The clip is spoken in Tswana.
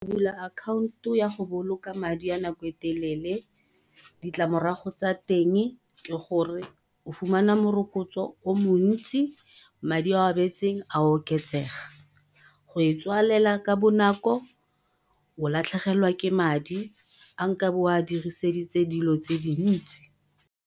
Go bula akhaonto ya go boloka madi ya nako e telele ditlamorago tsa teng ke gore o fumana morokotso o montsi, madi a o a beetseng a oketsega. Go e tswalela ka bonako, o latlhegelwa ke madi a nkabe o a diriseditse dilo tse dintsi.